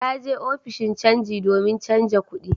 Ta je ofishin canji domin canja kudi